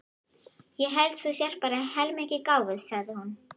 Ég held þú sért bara heilmikið gáfuð, sagði hún.